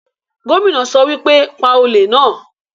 Gómìnà sọ wípé, 'Pa olè náà'